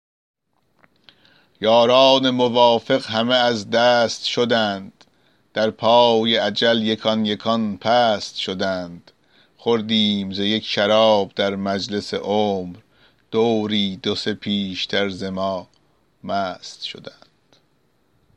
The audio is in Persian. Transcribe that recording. یاران موافق همه از دست شدند در پای اجل یکان یکان پست شدند خوردیم ز یک شراب در مجلس عمر دوری دو سه پیشتر ز ما مست شدند